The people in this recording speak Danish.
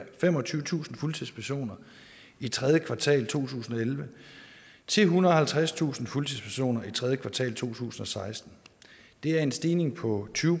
femogtyvetusind fuldtidspersoner i tredje kvartal to tusind og elleve til ethundrede og halvtredstusind fuldtidspersoner i tredje kvartal to tusind og seksten det er en stigning på tyve